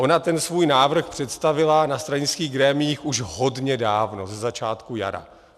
Ona ten svůj návrh představila na stranických grémiích už hodně dávno, ze začátku jara.